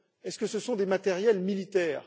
Est ce que ce sont des matériels militaires?